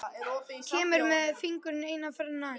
Kemur með fingurinn eina ferðina enn.